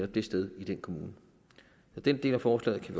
det sted i den kommune så den del af forslaget kan